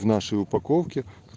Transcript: в нашей упаковке